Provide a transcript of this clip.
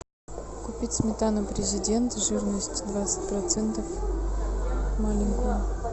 купить сметану президент жирность двадцать процентов маленькую